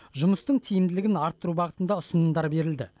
жұмыстың тиімділігін арттыру бағытында ұсынымдар берілді